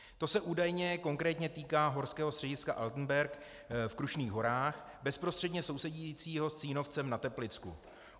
To se údajně konkrétně týká horského střediska Altenberg v Krušných horách, bezprostředně sousedícího s Cínovcem na Teplicku.